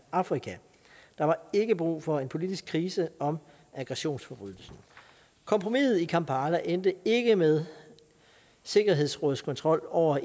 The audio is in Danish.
afrika der var ikke brug for en politisk krise om aggressionsforbrydelsen kompromiset i kampala endte ikke med sikkerhedsrådets kontrol over